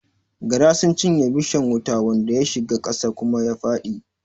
Gara sun cinye bishan wuta wanda ya shiga ƙasa kuma ya faɗi